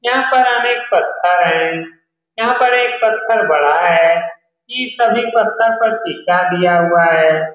यहाँ पर अनेक पत्थर हैं यहाँ पर एक पत्थर बड़ा है इस सभी पत्थर पर चिपका दिया हुआ है ।